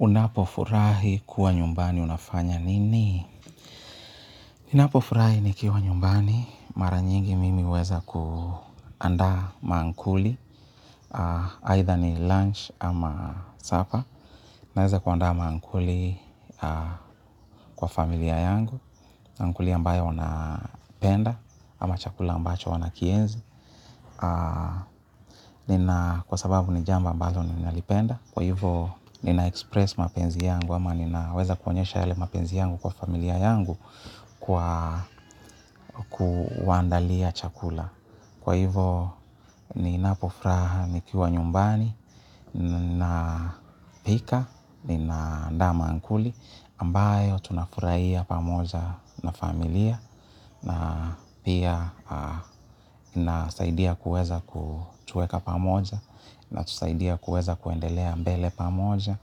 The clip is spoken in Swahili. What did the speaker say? Unapofurahi kuwa nyumbani unafanya nini? Ninapofurahi nikiwa nyumbani, mara nyingi mimi huweza kuandaa mankuli, either ni lunch ama supper, naweza kuandaa mankuli kwa familia yangu, mankuli ambayo wanapenda, ama chakula ambacho wana kienzi. Kwa sababu ni jambo ambalo ninalipenda, kwa hivyo ninaexpress mapenzi yangu, ama ninaweza kuonyesha yale mapenzi yangu kwa familia yangu kwa kuwaandalia chakula. Kwa hivo, ninapofuraha nikiwa nyumbani, ninapika, nina andaa mankuli, ambayo tunafurahia pamoja na familia na pia nasaidia kuweza kutuweka pamoja inatusaidia kuweza kuendelea mbele pamoja